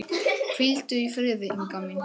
Hvíldu í friði, Inga mín.